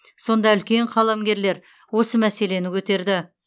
сонда үлкен қаламгерлер осы мәселені көтерді